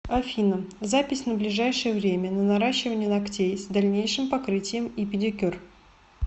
афина запись на ближайшее время на наращивание ногтей с дальнейшим покрытием и педикюр